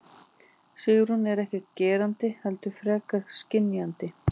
Sigrún er ekki gerandi heldur frekar skynjandi.